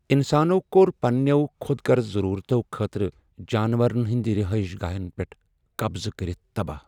انسانو کوٛر پننیو خود غرض ضرورتو خاطرٕ جانورن ہنٛدۍ رہٲیش گاہن پیٹھ قبضہٕ کرتھ تباہ۔